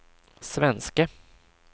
svenske